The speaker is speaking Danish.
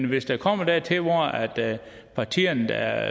hvis det kommer dertil hvor partierne der